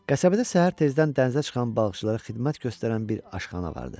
Qəsəbədə səhər tezdən dənizə çıxan balıqçılara xidmət göstərən bir aşxana vardı.